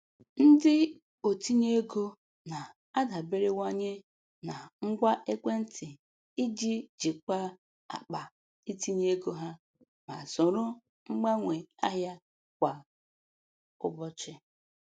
Ndị otinye ego na-adaberewanye na ngwa ekwentị iji jikwaa akpa itinye ego ha ma soro mgbanwe ahịa kwa ụbọchị.